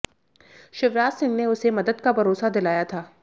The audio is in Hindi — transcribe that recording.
शिवराज सिंह ने उसे मदद का भरोसा दिलाया था